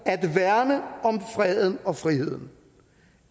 freden og friheden